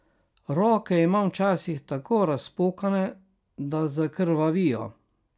Roke imam včasih tako razpokane, da zakrvavijo.